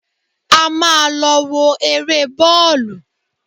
A máa lọ wo eré bọ́ọ̀lù